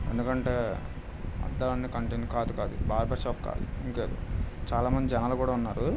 ఎందుకంటే అందాలని కాదుకాదు బార్బర్ షాప్ కాదుకాదు ఇంకా చాలా మంది జనాలు కూడా ఉన్నారు.